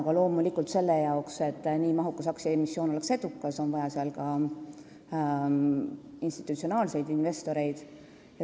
Aga loomulikult on selleks, et nii mahukas aktsiaemissioon oleks edukas, vaja ka institutsionaalseid investoreid.